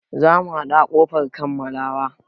Za mu haɗu a ƙofar kammalawa.